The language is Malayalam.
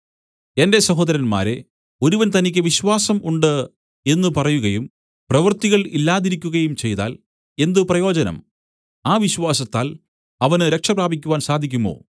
എന്റെ സഹോദരന്മാരേ ഒരുവൻ തനിക്ക് വിശ്വാസം ഉണ്ട് എന്ന് പറയുകയും പ്രവൃത്തികൾ ഇല്ലാതിരിക്കുകയും ചെയ്താൽ എന്ത് പ്രയോജനം ആ വിശ്വാസത്താൽ അവന് രക്ഷ പ്രാപിക്കുവാൻ സാധിക്കുമോ